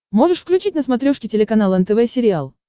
можешь включить на смотрешке телеканал нтв сериал